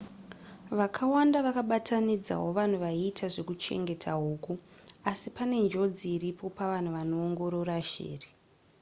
vakawanda vakabatanidzawo vanhu vaiita zvekuchengeta huku asi pane njodzi iripo pavanhu vanoongorora shiri